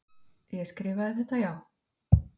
Ég skrifaði þetta, já.